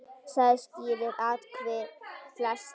Saga skýrir atvik flest.